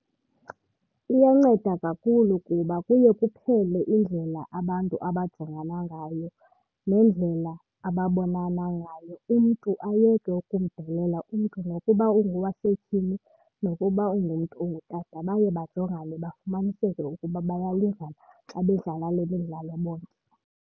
Iyanceda kakhulu kuba kuye kuphele indlela abantu abajongana ngayo nendlela ababonana ngayo, umntu ayeke ukumdelela umntu nokuba ungowasetyhini nokuba ungumntu ongutata. Baye bajongane bafumaniseke ukuba bayalingana xa bedlala le midlalo bonke.